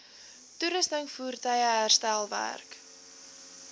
toerusting voertuie herstelwerk